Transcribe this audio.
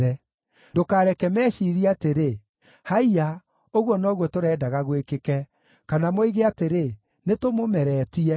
Ndũkareke meciirie atĩrĩ, “Haiya, ũguo noguo tũrendaga gwĩkĩke!” Kana moige atĩrĩ, “Nĩtũmũmeretie.”